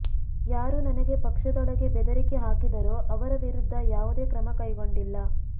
ಯಾರು ನನಗೆ ಪಕ್ಷದೊಳಗೆ ಬೆದರಿಕೆ ಹಾಕಿದರೋ ಅವರ ವಿರುದ್ಧ ಯಾವುದೇ ಕ್ರಮ ಕೈಗೊಂಡಿಲ್ಲ